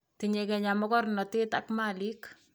Tinyei kenya mokornotee ak maliiik.